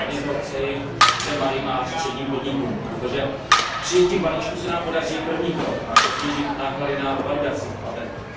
Ale hlavně to přeji všem malým a středním podnikům, protože přijetím balíčku se nám podaří první krok, a to snížit náklady na validaci patentu.